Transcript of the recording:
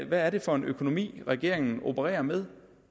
hvad er det for en økonomi regeringen opererer med